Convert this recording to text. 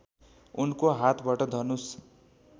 उनको हातबाट धनुष